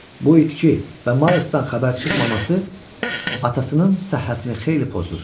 Bu itki və Maysdan xəbər çıxmaması atasının səhhətini xeyli pozur.